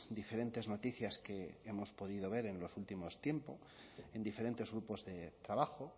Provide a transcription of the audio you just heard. diferentes noticias que hemos podido ver en los últimos tiempos en diferentes grupos de trabajo